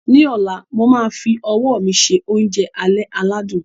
Ní ọ̀la, mo máa fi ọwọ́ mi se oúnjẹ alẹ́ aládùn